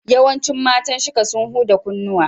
Yawancin matan Shika sun huda kunnuwa.